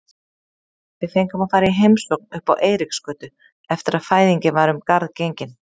Við fengum að fara í heimsókn uppá Eiríksgötu eftir að fæðingin var um garð gengin.